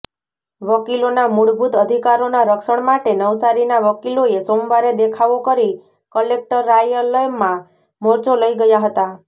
વકીલોનાં મૂળભૂત અધિકારોનાં રક્ષણ માટે નવસારીના વકીલોએ સોમવારે દેખાવો કરી કલેક્ટરાલયમાં મોરચો લઇ ગયા હતાં